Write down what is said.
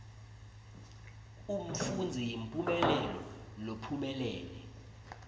umfundzi imphumelelo lophumelele